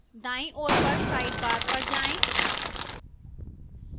दाईं ओर पर sidebarपर जाएं